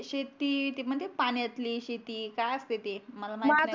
शेती ते पाण्यातील शेती काय असते ते मला माहीत